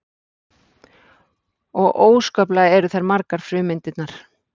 og óskaplega eru þær margar frumeindirnar